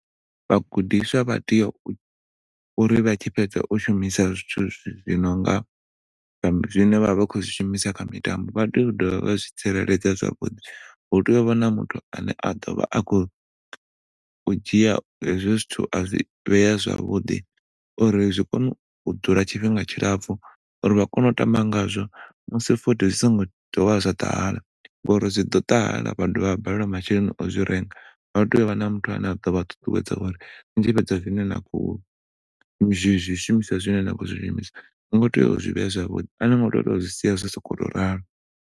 Vha gudiswa vha tea uri vha tshi fhedza u shumisa zwithu zwi nonga zwine vha vha khou zwi shumisa kha mitambo vha tea u dovha vha zwi tsireledza zwavhuḓi. Hu tea u vha na muthu ane a ḓo vha a khou dzhia hezwo zwithu a zwi vhea zwavhuḓi uri zwi kone u dzula tshifhinga tshilapfu, uri vha kone u tamba ngazwo musi futhi zwi songo dovha zwa ṱahala ngauri zwiḓo ṱahala vha dovha vha balelwa masheleni o zwi renga. Vha tea u vha na muthu ane aḓo vha ṱuṱuwedza uri ni tshi fhedza zwine na khou zwi zwi shumiswa zwine na khou zwi shumisa ni khou tea u zwi vhea zwavhuḓi ani ngo tea u zwi sia zwo to rali.